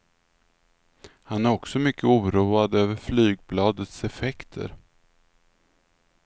Han är också mycket oroad över flygbladets effekter.